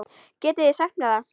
Getið þið sagt mér það?